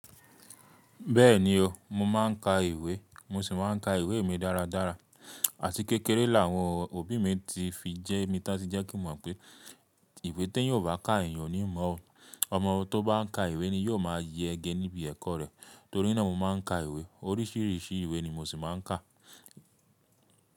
Bẹ́ẹ̀ni o, mo máà ń ka ìwé, mo sì máa ń ka ìwé mi dáradára. Àti kékeré làwọn òbí mi ti fi jẹ́ mi tá tí jẹ́ kí mọ̀ pé ìwé tí ẹ́yan o bá ká èyan oni mọ́ o. Ọmọ tó bá ka ìwé ni yóò máa yẹ ge níbi ẹ̀kọ́ rẹ̀. Torí náà mo máà ń ka ìwé, oríṣìíríṣìí ìwé ni mo sì máa ń kà.